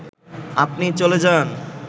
আপনি চলে যান